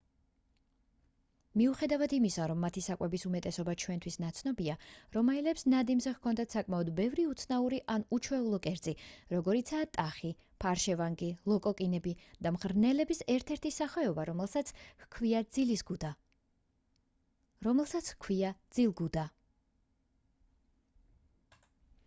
მიუხედავად იმისა რომ მათი საკვების უმეტესობა ჩვენთვის ნაცნობია რომაელებს ნადიმზე ჰქონდათ საკმაოდ ბევრი უცნაური ან უჩვეულო კერძი როგორიცაა ტახი ფარშევანგი ლოკოკინები და მღრღნელების ერთ-ერთი სახეობა რომელსაც ჰქვია ძილგუდა